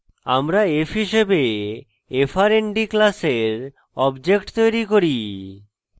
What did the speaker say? আমরা f হিসাবে frnd class object তৈরী করি